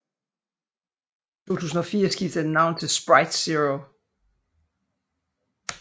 I 2004 skiftede den navn til Sprite Zero